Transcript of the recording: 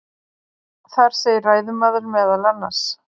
Þar segir ræðumaður meðal annars: